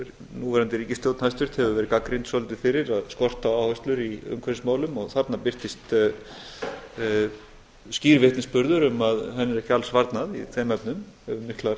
núverandi ríkisstjórn hæstvirt hefur verið gagnrýnd svolítið fyrir skort á áherslur í umhverfismálum og þarna birtist skýr vitnisburður um að henni er ekki alls varnað í þeim efnum hefur miklar